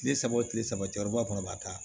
Kile saba o kile saba cɛra ba fana b'a ta